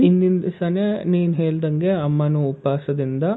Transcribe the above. ಹಿಂದಿನ್ ದಿವ್ಸನೆ ನೀನ್ ಹೆಲ್ದಂಗೆ ಅಮ್ಮನು ಉಪವಾಸ ದಿಂದ,